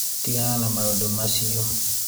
tigana na maũndũ macĩo